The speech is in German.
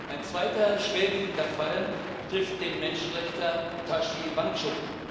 Ein zweiter schwerwiegender Fall betrifft den Menschenrechtler Tashi Wangchuk.